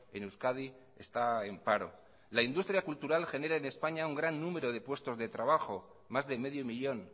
en euskadi está en paro la industria cultural genera en españa un gran número de puestos de trabajo más de medio millón